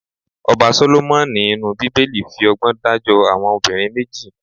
Ọba Sólómọ́nì inú Bíbélì fi ọgbọ́n dájọ́ àwọn obìnrin méjì.